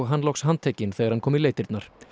hann loks handtekinn þegar hann kom í leitirnar